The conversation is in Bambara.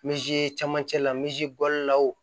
camancɛ la bɔli la